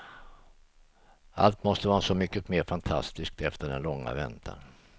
Allt måste vara så mycket mer fantastiskt efter den långa väntan.